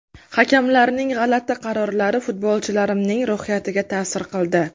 Hakamlarning g‘alati qarorlari futbolchilarimning ruhiyatiga ta’sir qildi.